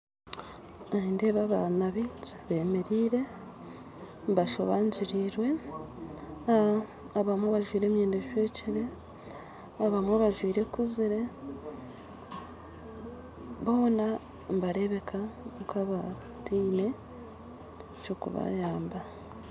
Nindeeba abana bingi bemeriire, bashobangyirirwe, abamwe bajwire emyenda ecwekire, abamwe bajwire ekuziire, boona nibarebeka nkabataine kyokubayamba